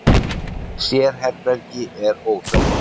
Sérherbergi er óþekkt.